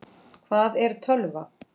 Hvað er tölva?